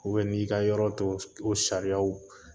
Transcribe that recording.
n'i ka yɔrɔ to o sariyaw